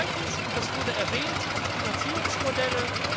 Zweitens und das haben Sie erwähnt Finanzierungsmodelle.